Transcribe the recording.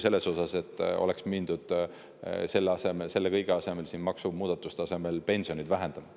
Palju mõistlikum ka sellest, kui selle kõige asemel siin, maksumuudatuste asemel oleks mindud pensioneid vähendama.